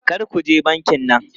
Kar ku je bankin nan!